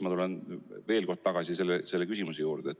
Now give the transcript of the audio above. Ma tulen veel kord selle küsimuse juurde.